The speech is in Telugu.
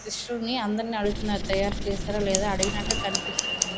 శిషుని అందరిని అడుగుతున్నారు తయ్యారు చేశారు లేదా అన్ని అడుగుతు నట్టు కనిపిస్తున్నది.